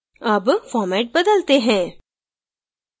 अब format बदलते हैं